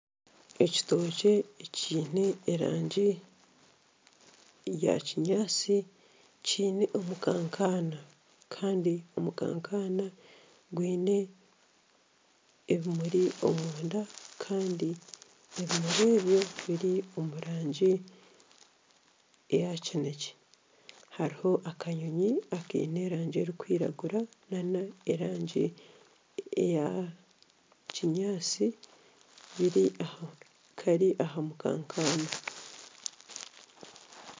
Ekitookye ekiine erangi eya kinyatsi kiine omukankana gwine ebimuri omunda Kandi ebimuri ebyo biri omu rangi eya kinekye hariho akanyonyi akaine erangi erikwiragura nana erangi eya kinyatsi kari aha mukankana